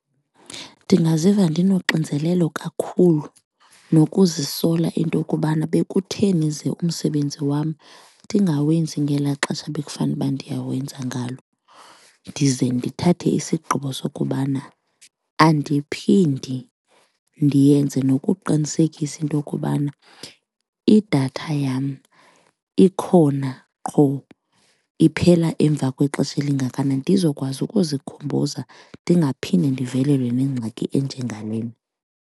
Ndingaziva ndinoxinzelelo kakhulu nokuzisola into kubana bekutheni ze umsebenzi wam ndingawenzi ngelaa xesha bekufanuba ndiyawenza ngalo ndize ndithathe isigqibo sokubana andiphindi ndiyenze. Nokuqinisekisa into yokubana idatha yam ikhona qho iphela emva kwexesha elingakanani ndizokwazi ukuzikhumbuzana, ndingaphinde ndivelelwe yile ngxaki enjengalena.